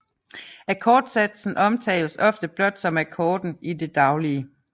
Akkordsatsen omtales ofte blot som akkorden i det daglige